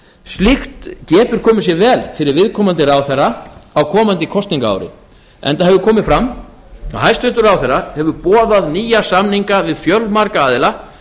slíkt getur komið sér vel fyrir viðkomandi ráðherra á komandi kosningaári enda hefur komið fram að hæstvirtur ráðherra hefur boðað nýja samninga við fjölmarga aðila